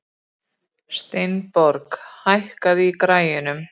Steinborg, hækkaðu í græjunum.